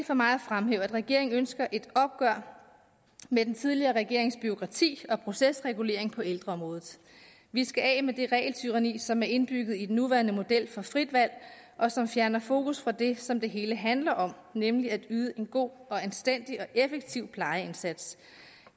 for mig at fremhæve at regeringen ønsker et opgør med den tidligere regerings bureaukrati og procesregulering på ældreområdet vi skal af med det regeltyranni som er indbygget i den nuværende model for frit valg og som fjerner fokus fra det som det hele handler om nemlig at yde en god og anstændig og effektiv plejeindsats